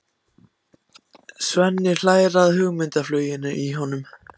Svenni hlær að hugmyndafluginu í honum.